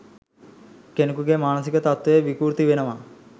කෙනකුගේ මානසික තත්ත්වය විකෘති වෙනවා.